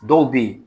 Dɔw bɛ yen